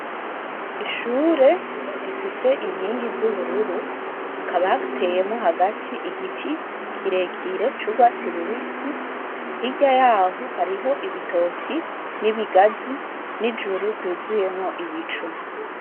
Ishure rifise inkingi z'ubururu hakaba hateyemwo hagati igiti kirekire c'urwatsi rubisi hirya yaho hariho ibitoke n'ibigazi n'ijuru ryuzuyemwo ibicu.